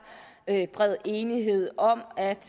er bred enighed om at